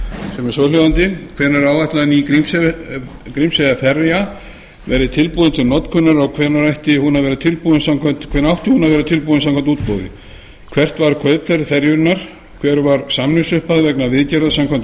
sem er svohljóðandi hvenær er áætlað að ný grímseyjarferja verði tilbúin til notkunar og hvenær átti hún að vera tilbúin samkvæmt útboði hvert var kaupverð ferjunnar hver var samningsupphæð vegna viðgerða samkvæmt